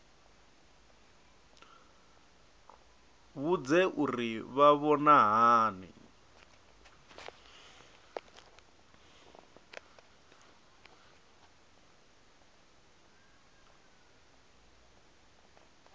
vhudze uri vha vhona hani